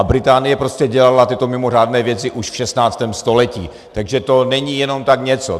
A Británie prostě dělala tyto mimořádné věci už v 16. století, takže to není jenom tak něco.